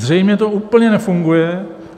Zřejmě to úplně nefunguje.